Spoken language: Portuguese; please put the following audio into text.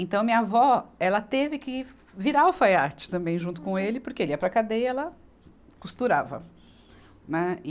Então, minha avó, ela teve que virar alfaiate também, junto com ele, porque ele ia para a cadeia e ela costurava, né e.